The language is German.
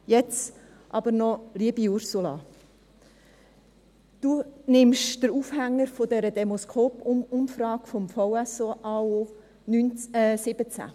Jetzt aber noch: Liebe Ursula Marti, Sie nehmen die Demoscope-Umfrage 2017 des VSAO als Aufhänger.